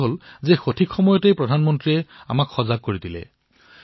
ভালেই হল আমাৰ প্ৰধানমন্ত্ৰীয়ে আমাক সময়মতে সজাগতা প্ৰদান কৰিলে